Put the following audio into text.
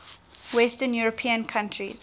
western european countries